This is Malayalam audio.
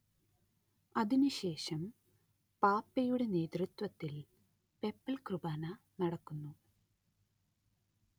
അതിനുശേഷം പാപ്പയുടെ നേതൃത്വത്തിൽ പെപ്പൽ കുർബാന നടക്കുന്നു